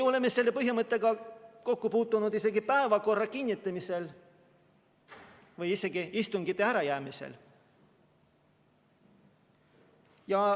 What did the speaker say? Oleme selle põhimõttega kokku puutunud isegi päevakorra kinnitamisel või isegi istungite ärajäämisel.